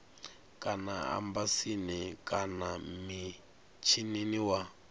kana embasini kana mishinini wa